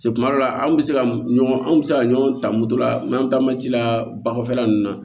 Se kuma dɔ la an bɛ se ka ɲɔgɔn an bɛ se ka ɲɔgɔn ta moto la n'an taa ma ci la ba kɔfɛla ninnu na